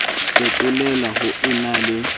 fetolela ho e na le